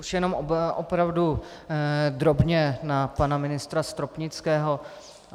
Už jenom opravdu drobně na pana ministra Stropnického.